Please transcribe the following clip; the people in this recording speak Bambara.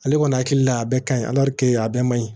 Ale kɔni hakili la a bɛɛ ka ɲi a bɛɛ man ɲi